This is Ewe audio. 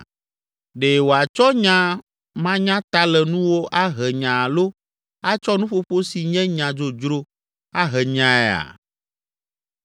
Ɖe wòatsɔ nya manyatalenuwo ahe nya alo atsɔ nuƒoƒo si nye nya dzodzro ahe nyaea?